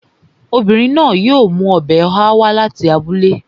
Obìnrin yóò mú ọbẹ̀ ọ̀há wá láti abúlé